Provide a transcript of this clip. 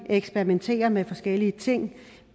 eksperimentere med forskellige ting